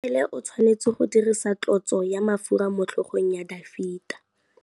Samuele o tshwanetse go dirisa tlotsô ya mafura motlhôgong ya Dafita.